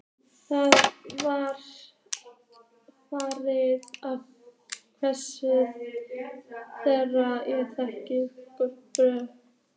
Það var farið að hvessa, þegar ég gekk burt.